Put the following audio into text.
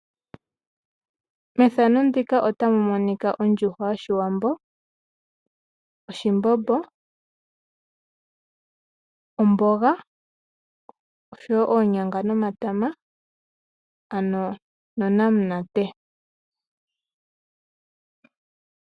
Methano ndika ota mu monika ondjuhwa yoshiwambo, oshimbombo, omboga, oshowo oonyanga nomatama ano nonamunate.